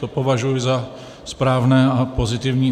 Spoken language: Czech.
To považuji za správné a pozitivní.